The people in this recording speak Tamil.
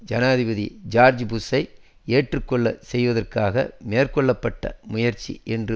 ஜனாதிபதி ஜோர்ஜ் புஷ்ஷை ஏற்றுக்கொள்ளச் செய்வதற்காக மேற்கொள்ள பட்ட முயற்சி என்று